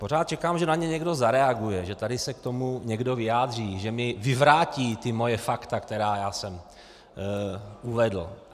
Pořád čekám, že na ně někdo zareaguje, že tady se k tomu někdo vyjádří, že mi vyvrátí ta moje fakta, která já jsem uvedl.